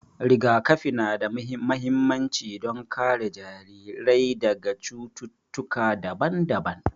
Rigakafi na da mahimmanci don kare jarirai daga cututtuka daban-daban.